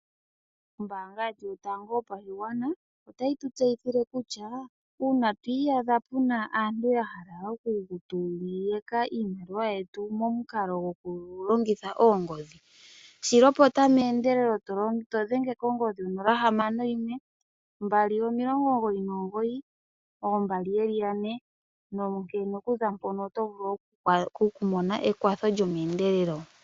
Ombaanga yetu yotango yopashigwana, otayi tu tseyithile kutya uuna twiiyadha puna aantu yahala okutu yaka iimaliwa yetu omukalo gokulongitha oongodhi, shilopota meendelelo to dhenge kongodhi 061 299 2222 nonkene kuza mpono otovulu okumona ekwatho lyomeendelelo.